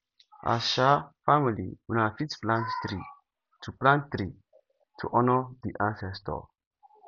as um family una fit plant tree to plant tree to honor di ancestor